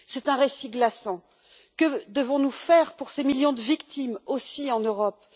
C'est un récit glaçant. Que devons nous faire pour ces millions de victimes, aussi en Europe?